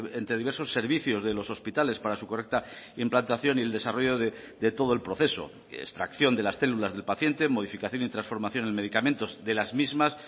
entre diversos servicios de los hospitales para su correcta implantación y el desarrollo de todo el proceso extracción de las células del paciente modificación y transformación en medicamentos de las mismas